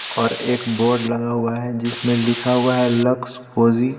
और एक बोर्ड लगा हुआ है जिसमें लिखा हुआ है लक्स कोजी .